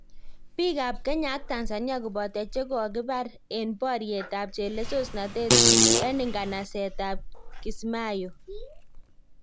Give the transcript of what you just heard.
Piik ab Kenya ak Tanzania koboto chekokibar en boryet ab chelesosnatet en nganset ab Kismayo